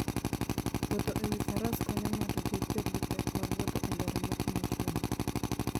Wuotho e wi faras konyo ng'ato kik bed gi pek mag wuotho e ndara motimo chuodho.